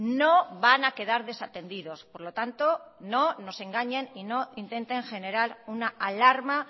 no van a quedar desatendidos por lo tanto no nos engañen y no intenten generar una alarma